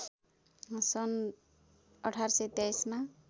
सन् १८२३ मा